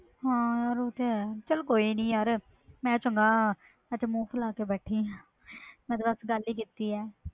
ਹਾਂ ਯਾਰ ਹੋ ਤੇ ਹੈ ਚਲ ਕੋਈ ਨਹੀਂ ਯਾਰ ਮੈਂ ਕਿਹੜਾ ਚੰਗਾ ਮੂੰਹ ਫੂਲਾ ਕੇ ਬੈਠੀ ਆ ਮੈਂ ਤੇ ਸਿਰਫ ਗੱਲ ਹੀ ਕੀਤੀ ਆ